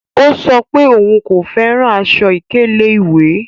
Ọ̀ sọ pé ọún kò fẹ́ran àṣọ-ìkẹlẹ̀ iwẹ́.